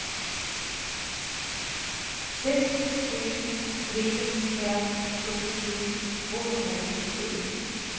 sex sju tre fem sjuttiosju tvåhundranittiosju